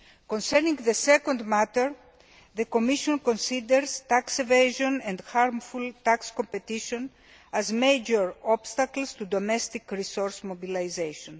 Concerning the second matter, the Commission considers tax evasion and harmful tax competition as major obstacles to domestic resource mobilisation.